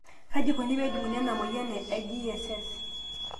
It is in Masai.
KAJI IKONI PEE EJUNGUNI ENA MOYIAN GSS?